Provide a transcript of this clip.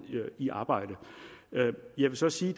i arbejde jeg vil så sige